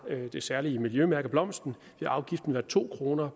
det særlige miljømærke blomsten vil afgiften være to kroner